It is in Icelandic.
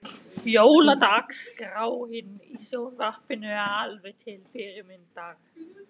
Jóladagskráin í sjónvarpinu er alveg til fyrirmyndar.